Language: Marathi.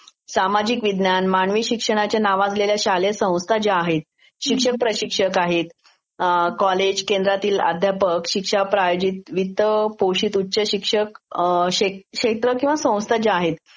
सामाजिक विज्ञान, मानवी शिक्षणाच्या नावाजलेल्या शालेय संस्था ज्या आहेत शिक्षण प्रशिक्षक आहे, कॉलेज, केंद्रांतील ध्यापक आहेत, विद्या शालीत, उच्च पोशित उच्च शिक्षित क्षे६ किंवा संस्था ज्या आहेत